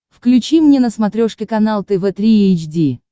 включи мне на смотрешке канал тв три эйч ди